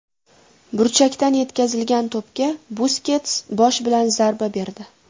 Burchakdan yetkazilgan to‘pga Buskets bosh bilan zarba berdi.